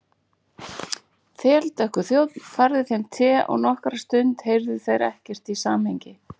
Þeldökkur þjónn færði þeim te og nokkra stund heyrðu þeir ekkert í samhengi.